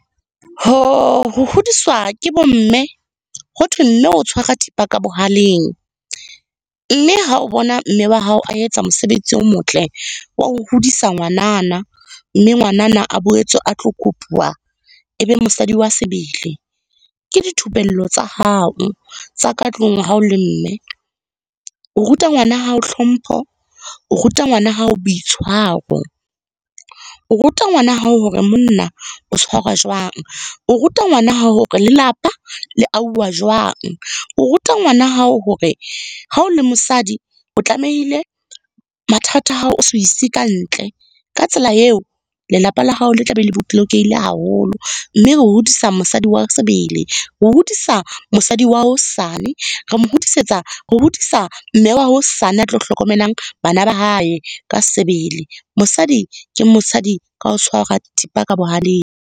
Ho hodiswa ke bo mme, hothwe mme o tshwara thipa ka bohaleng, mme ha o bona mme wa hao a etsa mosebetsi o motle wa ho hodisa ngwanana, mme ngwanana a boetse a tlo kopuwa e be mosadi wa sebele. Ke dithupello tsa hao tsa ka tlung ha o le mme. O ruta ngwana hao hlompho, o ruta ngwana hao boitshwaro. O ruta ngwana hao hore monna o tshwarwa jwang, o ruta ngwana hao hore lelapa le ahuwa jwang. O ruta ngwana hao hore ha o le mosadi, o tlamehile mathata a hao o se a ise ka ntle. Ka tsela eo, lelapa la hao le tla be le haholo. Mme o hodisa mosadi wa sebele, o hodisa mosadi wa hosane, re mo hodisetsa, re hodisa mme wa hosane a tlo hlokomelang bana ba hae ka sebele. Mosadi ke mosadi ka ho tshwara thipa ka bohaleng.